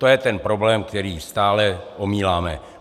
To je ten problém, který stále omíláme.